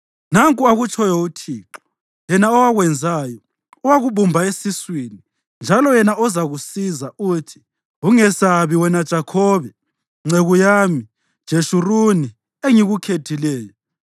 Nanku akutshoyo uThixo, yena owakwenzayo, owakubumba esiswini, njalo yena ozakusiza, uthi: Ungesabi, wena Jakhobe, nceku yami, Jeshuruni engikukhethileyo.